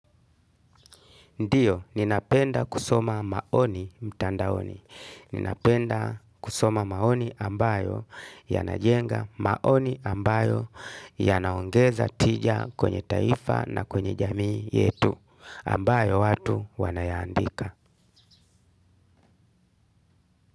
Ndiyo, ninapenda kusoma maoni, mtandaoni. Ninapenda kusoma maoni ambayo, yanajenga, maoni ambayo ya naongeza tija kwenye taifa na kwenye jamii yetu, ambayo watu wanayandika.